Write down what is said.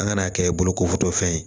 An ka n'a kɛ bolokotɔfɛn ye